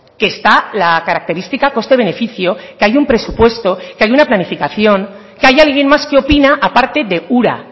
que esta la característica coste beneficio que hay un presupuesto que hay una planificación que hay alguien más que opina aparte de ura